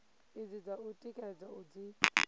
idzi dza u tikedza dzi